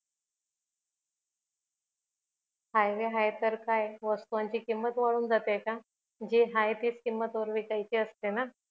highway हाय तर काय वास्तुवांची किंमत वाढून जाते का जे हाय तेच किंमत वर विकायची असते ना